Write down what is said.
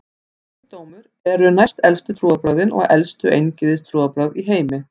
Gyðingdómur eru næstelstu trúarbrögðin og elstu eingyðistrúarbrögð í heimi.